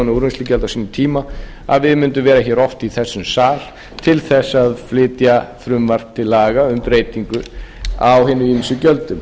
úrvinnslugjald á sínum tíma að við mundum verða hér oft í þessum sal til þess að flytja frumvarp til laga um breytingu á hinum ýmsu gjöldum